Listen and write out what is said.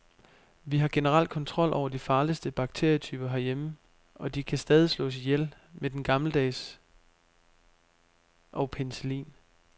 Vi har generelt kontrol over de farligste bakterietyper herhjemme, og de kan stadig slås ihjel med den gammeldags og penicillin.